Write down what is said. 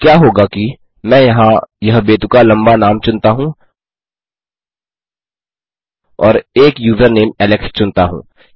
अब क्या होगा कि मैं यहाँ यह बेतुका लम्बा नाम चुनता हूँ और एक यूज़रनेम एलेक्स चुनता हूँ